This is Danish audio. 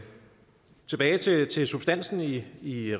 tilbage til til substansen i i